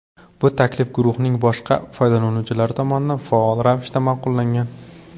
Bu taklif guruhning boshqa foydalanuvchilari tomonidan faol ravishda ma’qullangan.